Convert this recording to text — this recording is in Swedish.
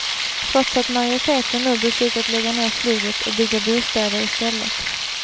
Trots att majoriteten nu beslutat lägga ner flyget och bygga bostäder i stället.